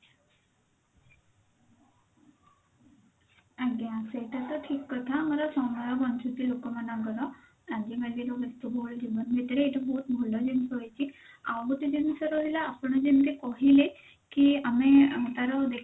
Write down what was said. ଆଜ୍ଞା ସେଟା ତ ଠିକ କଥା ଆମର ସମୟ ବଞ୍ଚୁଛି ଲୋକ ମାନଙ୍କର ଆଜିକାଲି ର ବ୍ୟସ୍ତବହୁଳତା ଜୀବନ ଭିତରେ ଏଇଟା ବହୁତ ଭଲ ଜିନିଷ ହେଇଛି ଆଉ ଗୋଟେ ଜିନିଷ ରହିଲା ଆପଣ ଯେମିତି କହିଲେ କି ଆମେ ତାର